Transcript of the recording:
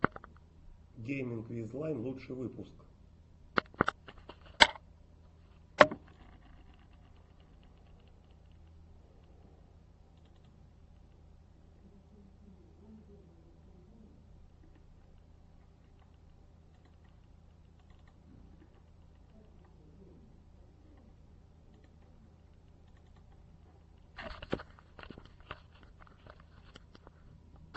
гейминг виз лайн лучший выпуск